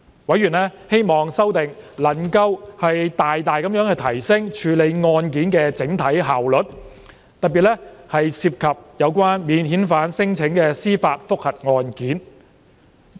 委員希望修訂能夠大大提升處理案件的整體效率，特別是涉及免遣返聲請的司法覆核案件。